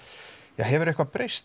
ja hefur eitthvað breyst